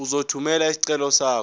uzothumela isicelo sakho